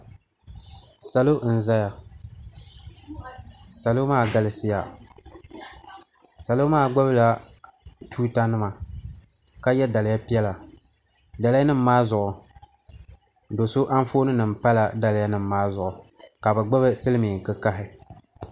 salo n-zaya salo maa galisiya salo maa gbubi la tuuta nimaka ye daliya piɛla daliya nima maa zuɣu do' so anfooni nima pala daliya nima maa zuɣu ka bɛ gbubi silimin' kikahi.